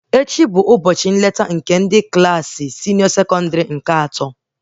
Ndị Klassị atọ ndị senịọ nwere ụbọchị visitin ha echi